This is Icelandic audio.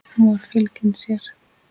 Hún var fylgin sér.